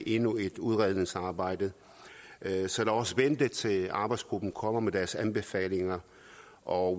endnu et udredningsarbejde så lad os vente til arbejdsgruppen kommer med deres anbefalinger og